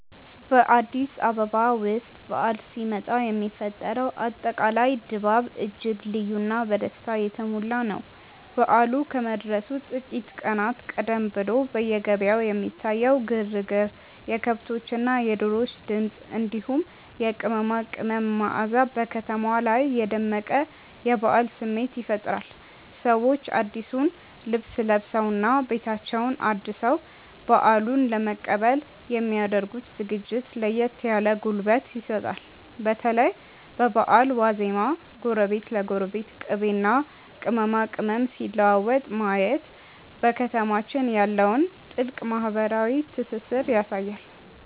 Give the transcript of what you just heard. በአዲስ አበባ ውስጥ በዓል ሲመጣ የሚፈጠረው አጠቃላይ ድባብ እጅግ ልዩና በደስታ የተሞላ ነው። በዓሉ ከመድረሱ ጥቂት ቀናት ቀደም ብሎ በየገበያው የሚታየው ግርግር፣ የከብቶችና የዶሮዎች ድምፅ፣ እንዲሁም የቅመማ ቅመም መዓዛ በከተማዋ ላይ የደመቀ የበዓል ስሜት ይፈጥራል። ሰዎች አዲሱን ልብስ ለብሰውና ቤታቸውን አድሰው በዓሉን ለመቀበል የሚ ያደርጉት ዝግጅት ለየት ያለ ጉልበት ይሰጣል። በተለይ በበዓል ዋዜማ ጎረቤት ለጎረቤት ቅቤና ቅመማ ቅመም ሲለዋወጥ ማየት በከተማችን ያለውን ጥልቅ ማህበራዊ ትስስር ያሳያል።